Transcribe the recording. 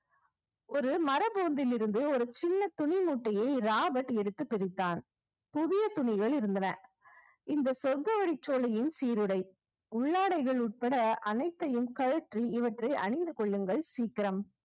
ஒரு மரபூந்திலிருந்து ஒரு சின்ன துணி மூட்டையை ராபர்ட் எடுத்து பிரித்தான் புதிய துணிகள் இருந்தன இந்த சொர்க்கவெளி சோலையின் சீருடை உள்ளாடைகள் உட்பட அனைத்தையும் கழற்றி இவற்றை அணிந்து கொள்ளுங்கள் சீக்கிரம்